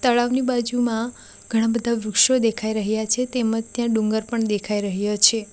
તળાવની બાજુમાં ઘણા બધા વૃક્ષો દેખાઈ રહ્યા છે તેમજ ત્યાં ડુંગર પણ દેખાઈ રહ્યો છે.